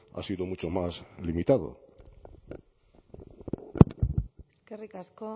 ha sido mucho más limitado eskerrik asko